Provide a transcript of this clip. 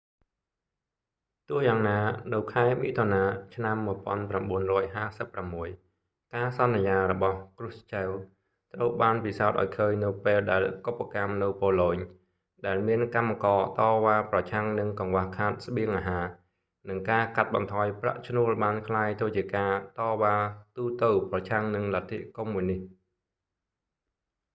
ទោះ​យ៉ាងណា នៅ​ខែ​មិថុនា ឆ្នាំ 1956 ការសន្យា​របស់​krushchev ត្រូវ​បាន​ពិសោធន៍​ឱ្យ​ឃើញ​នៅ​ពេល​ដែល​កុបកម្ម​នៅ​ប៉ូឡូញ ដែល​មាន​កម្មករ​តវ៉ា​ប្រឆាំង​នឹង​កង្វះខាត​ស្បៀងអាហារ និង​ការកាត់​បន្ថយ​ប្រាក់​ឈ្នួល​បានក្លាយ​ទៅជា​ការ​តវ៉ា​ទូទៅ​ប្រឆាំង​នឹង​លទ្ធិកុម្មុយនិស្ត។